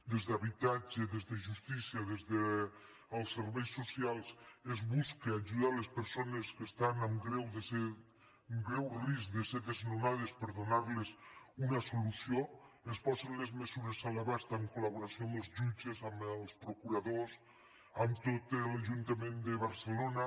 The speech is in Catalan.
des d’habitatge des de justícia des dels serveis socials es busca ajudar les persones que estan en greu risc de ser desnonades per donar los una solució es posen les mesures a l’abast en col·els procuradors amb tot l’ajuntament de barcelona